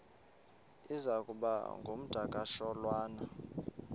iza kuba ngumdakasholwana